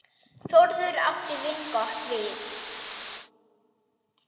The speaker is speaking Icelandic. Þórður átti vingott við.